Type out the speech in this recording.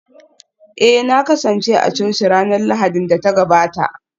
Eh na kasance a coci ranar Lahadin da ta gabata